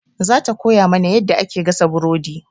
Za ta koya mana yadda ake gasa buredi.